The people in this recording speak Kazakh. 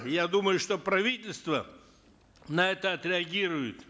я думаю что правительство на это отреагирует